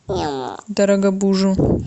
дорогобужу